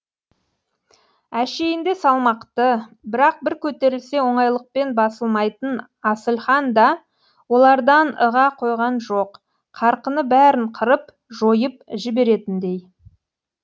әшейінде салмақты бірақ бір көтерілсе оңайлықпен басылмайтын асылхан да олардан ыға қойған жоқ қарқыны бәрін қырып жойып жіберетіндей